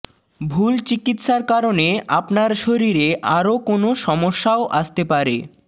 ভুল চিকিৎসার কারণে আপনার শরীরে আরও কোনও সমস্যাও আসতে পারে